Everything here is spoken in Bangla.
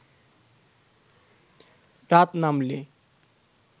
রাত নামলে